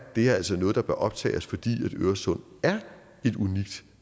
det her altså noget der bør optage os fordi øresund er et unikt